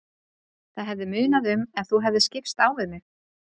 Það hefði munað um ef þú hefðir skipst á við mig.